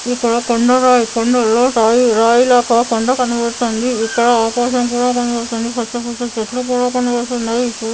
ఇక్కడ కొండరాయి కొండలో రాయి రాయిలా కాకుండా కనపడుతుంది. ఇక్కడ ఆకాశం కూడా కనపడుతున్నది. పెద్ద పెద్ద చెట్లు కుడా కనపడుతునాయీ. చూడ --